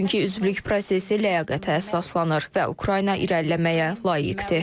Çünki üzvlük prosesi ləyaqətə əsaslanır və Ukrayna irəliləməyə layiqdir.